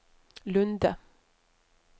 Lunde